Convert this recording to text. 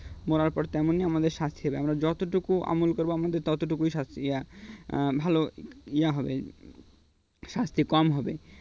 মরার পর তেমনি আমাদের সাথে আমরা যতটুকু আমল করব আমাদের ততটুকুই শাস্তি ইয়া ভাল . হবে শাস্তি কম হবে